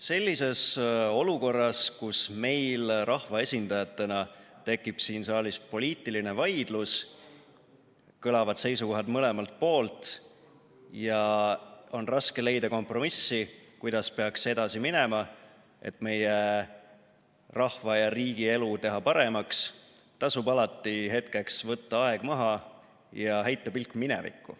Sellises olukorras, kus meil rahvaesindajatena tekib siin saalis poliitiline vaidlus, kõlavad seisukohad mõlemalt poolt ja on raske leida kompromissi, kuidas peaks edasi minema, et meie rahva ja riigi elu paremaks teha, tasub alati võtta hetkeks aeg maha ja heita pilk minevikku.